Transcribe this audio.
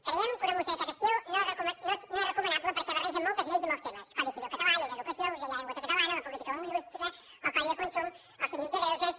creiem que una moció d’aquest estil no és recomanable perquè barreja moltes lleis i molts temes codi civil català llei d’educació ús de la llengua catalana la política lingüística el codi de consum el síndic de greuges